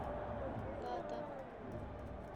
бата